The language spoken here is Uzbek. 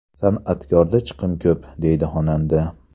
San’atkorda chiqim ko‘p”, deydi xonanda.